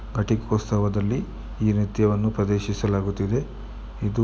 ಘಟಿಕೋತ್ಸವದಲ್ಲಿ ಈ ನೃತ್ಯವನ್ನು ಒಂದು ಪ್ರದರ್ಶಿಸಲಾಗುತ್ತದೆ ಇದು --